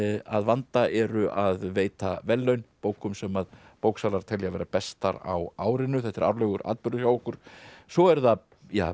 að vanda eru að veita verðlaun bókum sem bóksalar telja vera bestar á árinu þetta er árlegur atburður hjá okkur svo eru það